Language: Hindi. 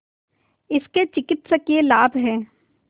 इसके चिकित्सकीय लाभ हैं